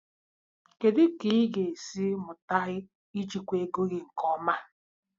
Kedu ka ị ga-esi mụta ijikwa ego gị nke ọma?